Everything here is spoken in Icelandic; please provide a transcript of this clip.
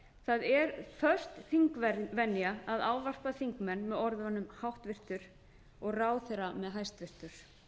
það er föst þingvenja að ávarpa þingmenn með orðunum háttvirtur og ráðherra með hæstvirtur